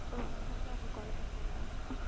ஓ அதனால தான் அவங்க call பண்ணலையா